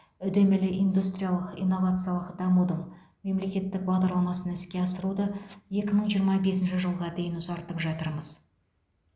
үдемелі индустриялық инновациялық дамудың мемлекеттік бағдарламасын іске асыруды екі мың жиырма бесінші жылға дейін ұзартып жатырмыз